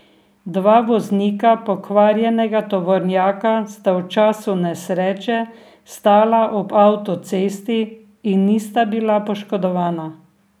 Dva voznika pokvarjenega tovornjaka sta v času nesreče stala ob avtocesti in nista bila poškodovana.